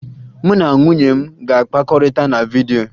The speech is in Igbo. Mụ na nwunye m ga-akpakọrịta na vidyo